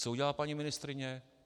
Co udělá paní ministryně?